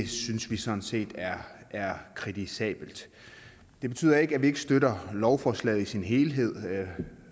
synes vi sådan set er er kritisabelt det betyder ikke at vi ikke støtter lovforslaget i sin helhed